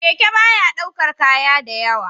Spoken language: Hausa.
Keke baya ɗaukar kaya da yawa